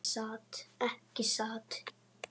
Ekki satt?